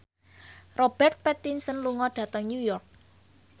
Robert Pattinson lunga dhateng New York